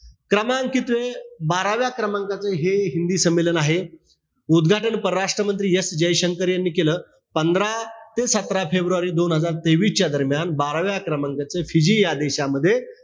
क्रमांक कितवा? बाराव्या क्रमांकाचं हे हिंदी संमेलन आहे. उदघाटन, परराष्ट्रमंत्री S जयशंकर यांनी केलं. पंधरा ते सतरा फेब्रुवारी दोन हजार तेवीस च्या दरम्यान. बाराव्या क्रमांकाचं फिजी या देशामध्ये.